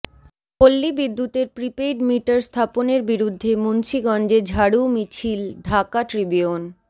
পল্লী বিদ্যুতের prepaid meter স্থাপনের বিরুদ্ধে মুন্সীগঞ্জে ঝাড়ু মিছিল ঢাকা ট্রিবিউন